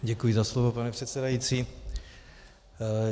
Děkuji za slovo, pane předsedající.